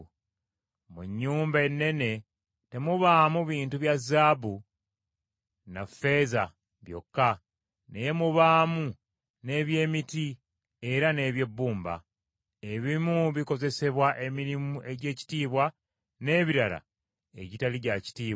Mu nnyumba ennene temubaamu bintu bya zaabu na ffeeza byokka, naye mubaamu n’eby’emiti, era n’eby’ebbumba. Ebimu bikozesebwa emirimu egy’ekitiibwa, n’ebirala egitali gya kitiibwa.